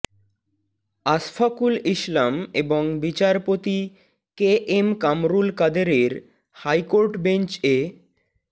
আশফাকুল ইসলাম এবং বিচারপতি K M Kamrul কাদেরের হাইকোর্ট বেঞ্চ এ